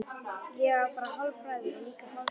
Ég á bara hálfbræður og líka hálfsystur.